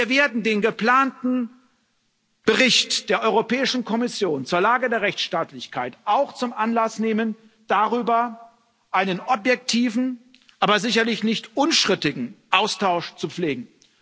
Wir werden den geplanten Bericht der Europäischen Kommission zur Lage der Rechtsstaatlichkeit auch zum Anlass nehmen, darüber einen objektiven, aber sicherlich nicht unstrittigen, Austausch zu pflegen.